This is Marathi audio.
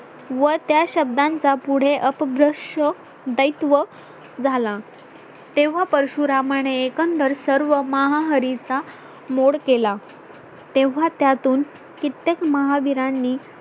व त्या शब्दांत चा पुढे अपभ्रंश दायित्व झाला तेव्हा परशुरामा ने एकंदर सर्व महाहरीचा मोड केला तेव्हा त्यातून कित्येक महाविरानी